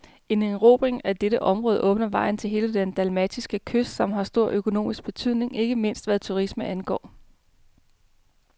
En erobring af dette område åbner vejen til hele den dalmatiske kyst, som har stor økonomisk betydning, ikke mindst hvad turisme angår.